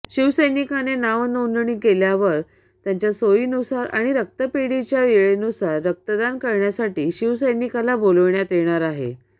शिवसैनिकाने नावनोंदणी केल्यावर त्यांच्या सोईनुसार आणि रक्तपेढीच्या वेळेनुसार रक्तदान करण्यासाठी शिवसैनिकाला बोलविण्यात येणार आहे